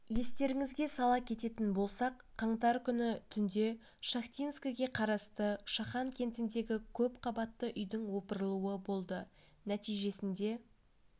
естеріңізге сала кететін болсақ қаңтар күні түнде шахтинскіге қарасты шахан кентіндегі көпқабатты үйдің опырылуы болды нәтижесінде